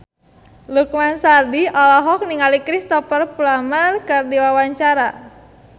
Lukman Sardi olohok ningali Cristhoper Plumer keur diwawancara